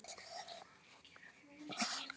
Þetta geri þeim kleift að komast af í heiminum.